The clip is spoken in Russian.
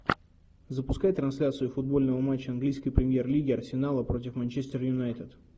запускай трансляцию футбольного матча английской премьер лиги арсенала против манчестер юнайтед